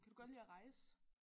Kan du godt lide at rejse?